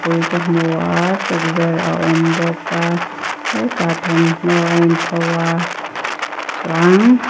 pui ka hmu a tukverh a awm bawka hetah thawmhnaw a in pho a chuan--